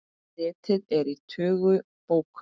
Ritið er í tuttugu bókum.